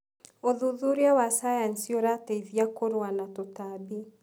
ũthuthuria wa cayanici ũrateithia kũrũa na tũtambi.